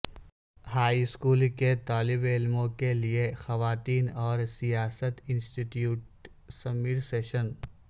high school کے طالب علموں کے لئے خواتین اور سیاست انسٹی ٹیوٹ سمر سیشن